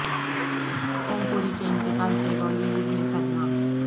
اوم پوری کے انتقال سے بالی ووڈ میں صدمہ